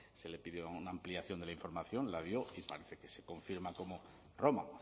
se le pidió una ampliación de la información la dio y parece que se confirma